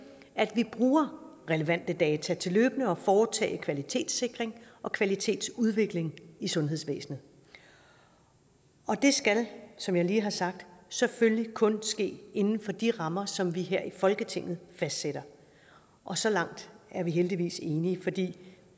at vi bruger relevante data til løbende at foretage en kvalitetssikring og kvalitetsudvikling i sundhedsvæsenet og det skal som jeg lige har sagt selvfølgelig kun ske inden for de rammer som vi her i folketinget fastsætter og så langt er vi heldigvis enige for det